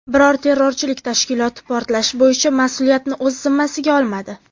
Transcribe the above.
Biror terrorchilik tashkiloti portlash bo‘yicha mas’uliyatni o‘z zimmasiga olmadi.